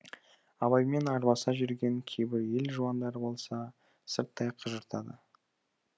абаймен арбаса жүрген кейбір ел жуандары болса сырттай қыжыртады